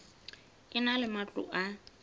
e na le matlo a